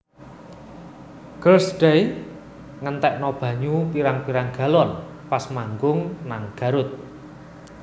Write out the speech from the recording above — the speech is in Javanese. Girls Day ngentekno banyu pirang pirang galon pas manggung nang Garut